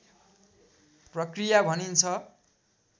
प्रक्रिया भनिन्छ